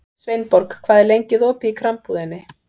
Sveinborg, hvað er lengi opið í Krambúðinni?